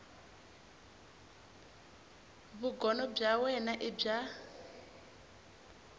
vugono bya wena i bya